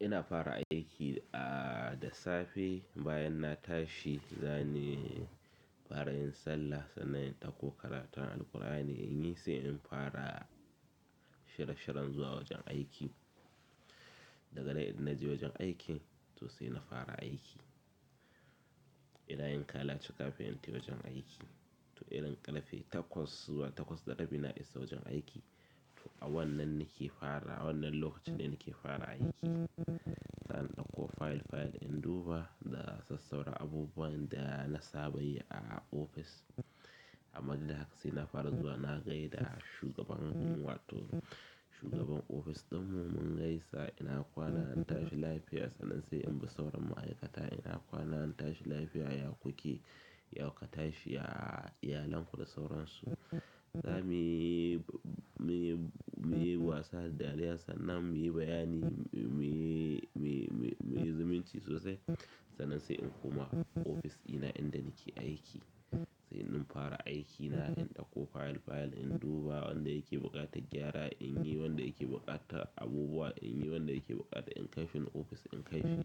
Ina fara aiki da safe bayan na tashi, zani fara yin sallah sannan i ɗakko karatun Alqur'ani in yi sai in fara shirye-shiyen zuwa wajen aiki. Daga nan idan na je wajen aikin to sai na fara aiki. Idan yin kalace kafin in tafi wajen aiki to idan ƙarfe takwas zuwa takwas da rabi na isa wajen aiki to a wannan nike fara wannan lokacin ne nake fara aiki. Zan ɗauko fayil-fayil in duba da sassaura abubuwan da na saba yi a ofis. Amma duk da haka saina fara zuwa na gaida shugabanmu wato shugaban ofis ɗinmu mun gaisa ina kwana an tashi lafiya sannan sai in bi sauran ma'aikata ina kwana an tashi lafiya ya ku ke? Ya ka tashi? A iyalan ku da sauransu. Za mu yi, mu yi, mu yi wasa da dariya sannan mu yi bayani mu yi, mu yi, mu yi zumunci sosai sannan sai in koma ofis ɗina inda nake aiki. Sai in fara aiki na in ɗauko fayil-fayil in duba wanda yake buƙatar gyara, in yi wanda yake buƙatar abubuwa, in yi wanda yake buƙatar in kaishi ofis in kaishi.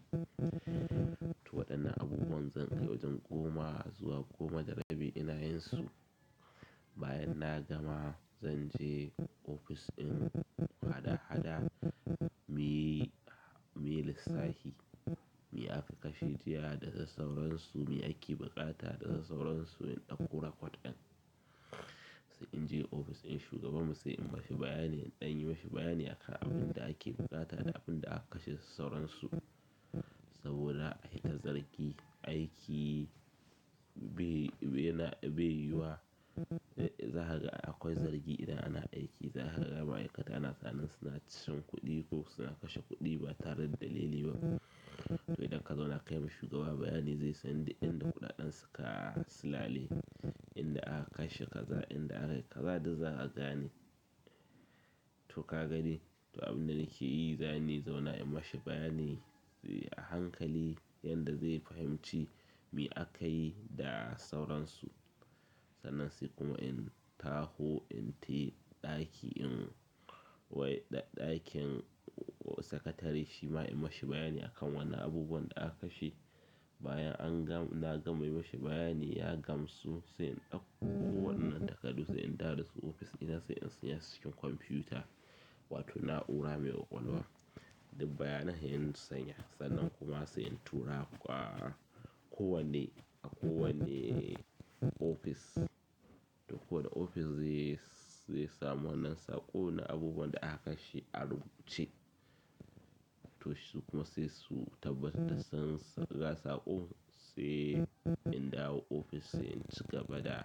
To waɗannan abubuwan zan kai wajen goma zuwa goma da rabi ina yin su. Bayan na gama zan je ofis ɗin hada-hada muyi, muyi lissafi, me aka kashe jiya da sauransu, me ake buƙata da sauransu in ɗauko rakot ɗin. Sai in je ofis in shugabanmu sai in mishi bayani, in ɗan yi mashi bayani akan abun da ake buƙata da abun da aka kashe sauransu. Saboda a yi ta zargi aiki be, be yiyuwa zakaga ai akwai zargi idan ana aiki za kaga ma'aikata ana tinanin suna cin kuɗi ko suna kashe kuɗi ba tare da dalili ba. To idan ka zauna kayima shugaba bayani zai san duk inda kuɗaɗen suka su lale, inda aka kashe kaza, inda aka yi kaza duk za a gane. To ka gani to abinda nakeyi zani zauna in mashi bayani inyi a hankali yanda zai fahimci me akayi da sauransu sannan sai kuma in taho in tafi ɗaki in, ɗakin sakatare shi ma in mashi bayani akan wannan abubuwan da aka kashe. Bayan na gama mishi bayani ya gamsu sai in ɗakko wannan takardu sai in dawo dasu cikin ofis ɗina sai in shigar dasu cikin komfuta wato na'ura mai ƙwaƙwalwa. Duk bayanan sai inyi saving sannan kuma sai in turawa ko wanne, a ko wanne ofis. To ko wanne ofis zai, zai samu wannan saƙo na abubuwan da aka kashe a rubuce. To shi kuma sai su tabbatar da sun saka saƙo sai in dawo ofis in ci gaba da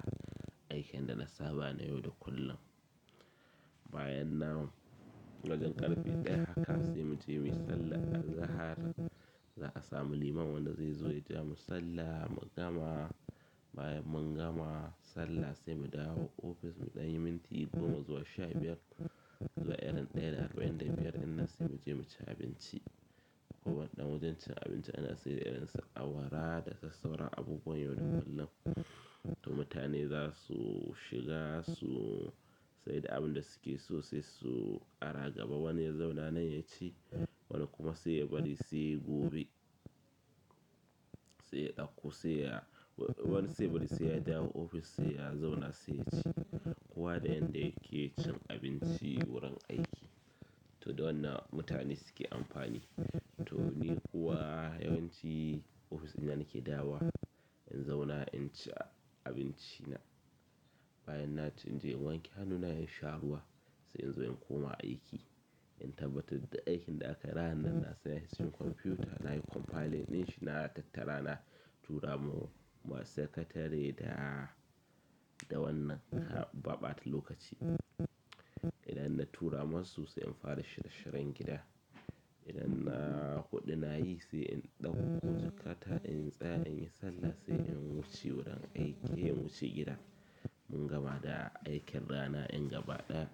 aikin da na saba na yau da kullum. Bayan nan wajen ƙarfe ɗaya haka sai mu je mu yi sallah azahar za a samu liman wanda zai zo ya jiya mu sallah mu gama. Bayan mun gama sallah sai mu dawo ofis mu ɗanyi minti goma zuwa sha biyar sai muje muci abinci ko wannan wajen cin abinci ana sayar da irinsu awara da sassaura abubuwan yau da kullum. To mutane za su shiga su sai duk abin da suke so sai su ƙara gaba wani ya zauna anan ya ci wani kuma sai ya bari sai gobe. Sai ya ɗakko sai ya, wani sai ya bari sai ya dawo ofis sai ya zauna sai ya ci. Kowa da yanda da yake cin abinci wurin aiki. To da wannan mutane suke amfani. To ni kuwa yawanci ofis ɗina nake dawowa in zauna in ci abinci na. Bayan na ci in je in wanke hannuna in sha ruwa sai in zo in koma aiki. In tabbatar duk aikin da aka yi ranan na saka cikin kwamfiyuta nayi compiling ɗin shi na tattara na tura ma, ma sakatare da, da wannan ba ɓata lokaci. Idan na tura masu sai in fara shira-shiran gida. Idan na huɗu na yi sai in ɗauko jakata in tsaya in yi sallah sai in wuce wurin aiki in wuce gida. Mun gama da aikin rana ɗin gaba ɗaya.